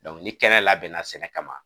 ni kɛnɛ labɛn bɛna sɛnɛ kama